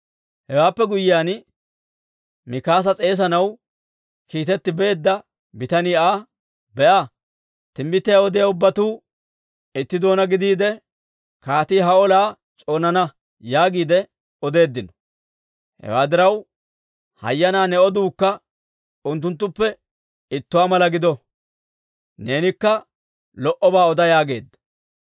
Hewaappe guyyiyaan Mikaasa s'eesanaw kiitetti beedda bitanii Aa, «Be'a, timbbitiyaa odiyaa ubbatuu itti doonaa gidiide, ‹Kaatii ha olaa s'oonana› yaagiide odeeddino. Hewaa diraw, hayyanaa ne oduukka unttunttuppe ittuwaa mala gido; neenikka lo"obaa oda» yaageedda.